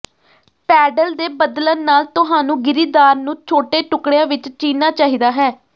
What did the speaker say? pedal ਦੇ ਬਦਲਣ ਨਾਲ ਤੁਹਾਨੂੰ ਗਿਰੀਦਾਰ ਨੂੰ ਛੋਟੇ ਟੁਕੜਿਆਂ ਵਿੱਚ ਚੀਰਨਾ ਚਾਹੀਦਾ ਹੈ